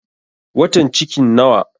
Watan cikin nawa?